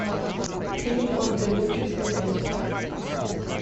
фильм код да винчи смотреть